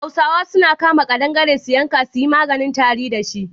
Hausa suna kama ƙadangare su yanka a yi maganin tari da shi.